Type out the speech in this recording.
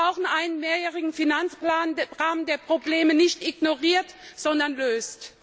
Wir brauchen einen Mehrjährigen Finanzrahmen, der Probleme nicht ignoriert, sondern löst!